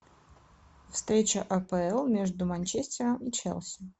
встреча апл между манчестером и челси